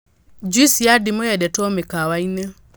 nJuici ya ndimũ yendetwo mĩkawa-inĩ